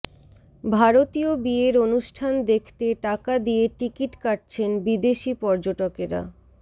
ভারতীয় বিয়ের অনুষ্ঠান দেখতে টাকা দিয়ে টিকিট কাটছেন বিদেশি পর্যটকেরা